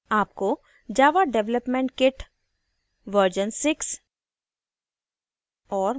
आपको java development kit jdk v6